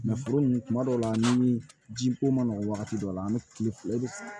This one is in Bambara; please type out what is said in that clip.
foro nunnu kuma dɔw la ni ji ko ma nɔgɔ wagati dɔ la an be kile e